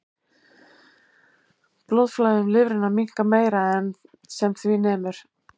Blóðflæði um lifrina minnkar meira en sem því nemur.